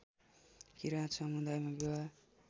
किरात समुदायमा विवाह